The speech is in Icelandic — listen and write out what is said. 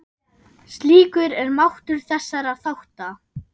Slíkur er máttur þessara þátta.